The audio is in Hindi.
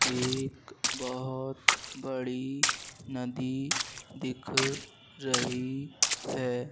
एक बहुत बड़ी नदी दिख रही है।